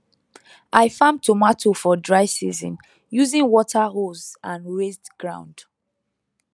i farm tomato for dry season using water hose and raised ground